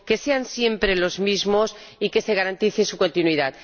sean siempre los mismos y se garantice su continuidad.